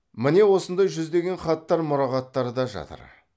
міне осындай жүздеген хаттар мұрағаттарда жатыр